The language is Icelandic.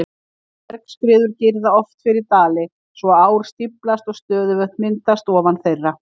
Bergskriður girða oft fyrir dali svo að ár stíflast og stöðuvötn myndast ofan þeirra.